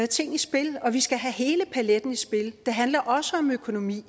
ting i spil og vi skal have hele paletten i spil det handler også om økonomi